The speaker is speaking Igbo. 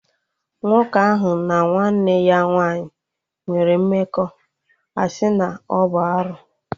Nwoke ahụ na nwanne ya nwaanyị nwere mmekọ, a sị na ọ bụ arụ